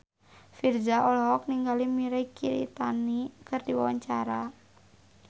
Virzha olohok ningali Mirei Kiritani keur diwawancara